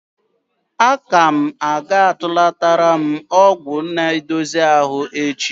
Akụm ga-atụlatara m ọgwụ na-edozi ahụ echi.